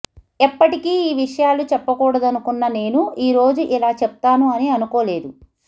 ఎప్పటికీ ఈ విషయాలు చెప్పకూడదనుకున్న నేను ఈరోజు ఇలా చెప్తాను అని అనుకోలేదు